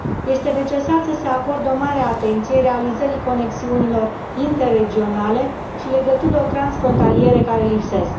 Este necesar să se acorde o mare atenție realizării conexiunilor interregionale și legăturilor transfrontaliere care lipsesc.